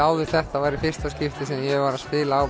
áður þetta er í fyrsta skipti sem ég var að spila á